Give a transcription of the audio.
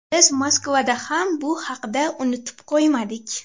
Biz Moskvada ham bu haqda unutib qo‘ymadik”.